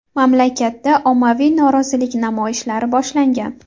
Mamlakatda ommaviy norozilik namoyishlari boshlangan.